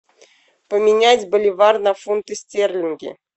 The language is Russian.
поменять боливар на фунты стерлингов